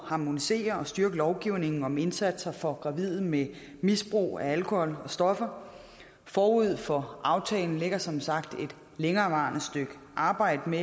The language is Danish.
harmonisere og styrke lovgivningen om indsatser for gravide med misbrug af alkohol og stoffer forud for aftalen ligger som sagt et længerevarende stykke arbejde med